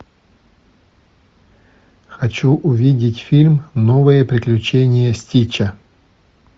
хочу увидеть фильм новые приключения стича